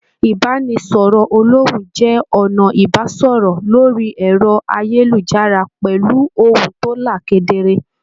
Ibanisọrọ olòhùn jẹ ọnà ibasọrọ lórí ẹrọ ayélujára pẹlú ohùn to là kedere.